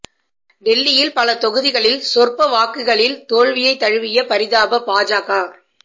டெல்லியில் பல தொகுதிகளில் சொற்ப வாக்குகளில் தோல்வியை தழுவிய பரிதாப பாஜக